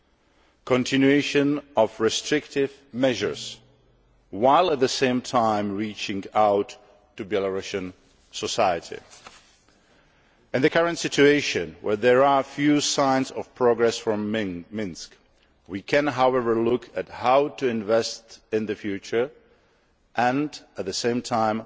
and the discontinuation of restrictive measures, while at the same time reaching out to Belarusian society. In the current situation, where there are few signs of progress from Minsk, we can, however, look at how to invest in the future and, at the same time,